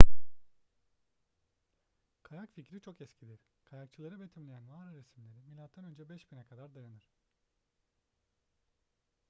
kayak fikri çok eskidir kayakçıları betimleyen mağara resimleri mö 5000'e kadar dayanır